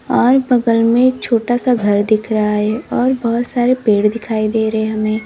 और बगल में छोटा सा घर दिख रहा है और बहुत सारे पेड़ दिखाई दे रहे हमें।